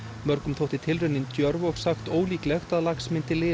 mörgum þótti tilraunin djörf og sagt ólíklegt að lax myndi lifa